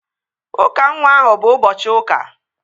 Ụka nwa ahụ bụ ụbọchị ụka